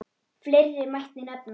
Fleiri mætti nefna.